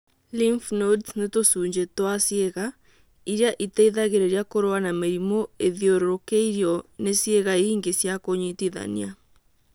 Lymph nodes nĩ tũcunjĩ twa ciĩga irĩa iteithagĩrĩria kũrũa na mĩrimũ ithiũrũkĩirio nĩ ciĩga ingĩ cia kũnyitithania